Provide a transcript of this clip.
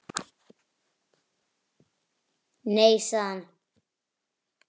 Nei sagði hann.